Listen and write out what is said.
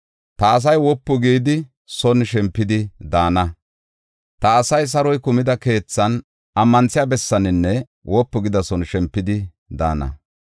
Ta asay saroy kumida keethan, ammanthiya bessaaninne wopu gida son shempidi daana.